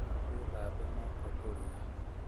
Wĩthambe moko tũrĩe